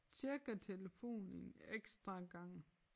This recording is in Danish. Tjekker telefonen en ekstra gang